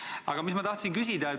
Aga küsida tahtsin ma seda.